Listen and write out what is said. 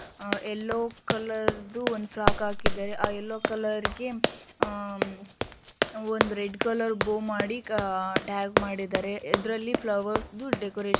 ಆ yellow colour ದು ಒಂದ್ ಫ್ರಾಕ್ ಹಾಕಿದ್ದಾರೆ. ಆ ಯಲ್ಲೋ ಕಲರ್ ಗೆ ಅಹ್ ಒಂದ್ ರೆಡ್ ಕಲರ್ ಬೌ ಮಾಡಿ ಅಹ್ ಟ್ಯಾಗ್ ಮಾಡಿದ್ದಾರೆ. ಇದ್ರಲ್ಲಿ ಫ್ಲವರ್ಸ್ ದು ಡೆಕೋರೇಷನ್ --